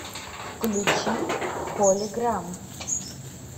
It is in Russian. включи холиграм